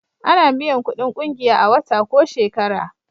A na biyan kudin ƙungiya a wata ko shekara